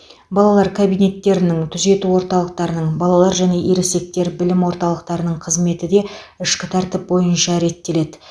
балалар кабинеттерінің түзету орталықтарының балалар және ересектер білім орталықтарының қызметі де ішкі тәртіп бойынша реттеледі